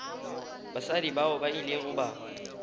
basadi bao ba ile ba